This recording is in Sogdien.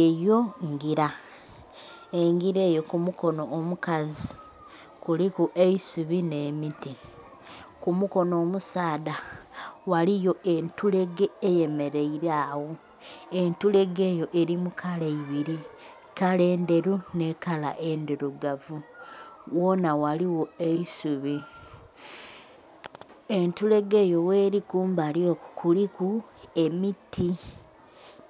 Eyo ngila engira eyo ku mukono omukazi kuliku eisubi ne miti, ku mukono omusaadha, ghaliyo ebtulege eyemeraile agho. Entulege eyo eli mu kala ibiri, kala enderu nhi kala endhirugavu. ghonha ghaligho eisubi. Entulege eyo gheli kumbali okwo kuliku emiti